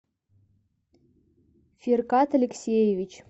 фиркат алексеевич